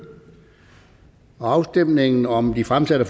afstemningen om de fremsatte